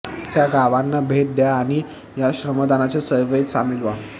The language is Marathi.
त्या गावांना भेट द्या आणि या श्रमदानाच्या चळवळीत सामील व्हा